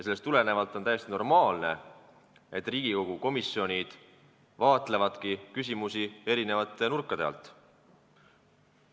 Sellest tulenevalt on täiesti normaalne, et Riigikogu komisjonid vaatlevadki küsimusi eri nurkade alt.